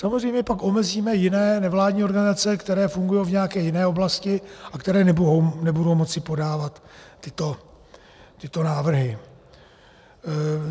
Samozřejmě pak omezíme jiné nevládní organizace, které fungují v nějaké jiné oblasti a které nebudou moci podávat tyto návrhy.